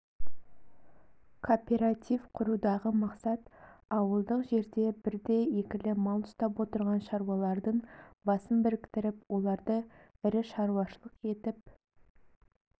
кооператив құрудағы мақсат ауылдық жерде бірді-екілі мал ұстап отырған шаруалардың басын біріктіріп оларды ірі шаруашылық етіп